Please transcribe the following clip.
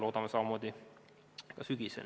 Loodame, et samamoodi on ka sügisel.